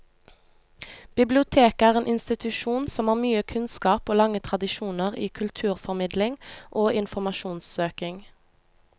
Biblioteket er en institusjon som har mye kunnskap og lange tradisjoner i kulturformidling og informasjonssøking.